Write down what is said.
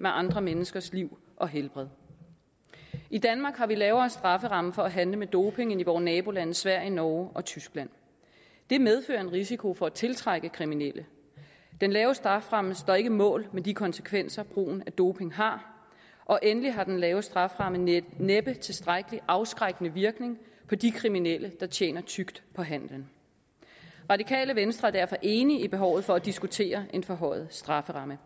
med andre menneskers liv og helbred i danmark har vi lavere strafferammer for at handle med doping end i vore nabolande sverige norge og tyskland det medfører en risiko for at tiltrække kriminelle den lave strafferamme står ikke mål med de konsekvenser doping har og endelig har den lave strafferamme næppe næppe tilstrækkelig afskrækkende virkning på de kriminelle der tjener tykt på handling radikale venstre er derfor enige i behovet for at diskutere en forhøjet strafferamme